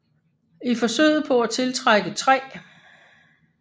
I forsøget på at tiltrække 3